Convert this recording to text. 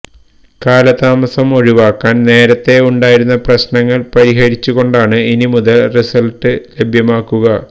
കാലതാമസം ഒഴിവാക്കാൻ നേരത്തേ ഉണ്ടായിരുന്ന പ്രശ്നങ്ങൾ പരിഹരിച്ചു കൊണ്ടാണ് ഇനി മുതൽ റിസൾട്ട് ലഭ്യമാക്കുക